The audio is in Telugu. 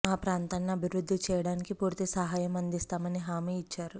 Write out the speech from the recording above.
ఆ ప్రాంతాన్ని అభివృద్ధి చేయడానికి పూర్తి సహాయం అందిస్తామని హామీ ఇచ్చారు